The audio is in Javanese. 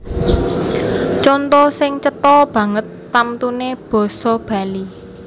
Conto sing cetha banget tamtuné basa Bali